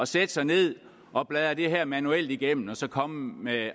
sætte sig ned og bladre det her manuelt igennem og så komme med